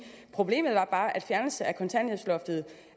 problemet var bare at fjernelsen af kontanthjælpsloftet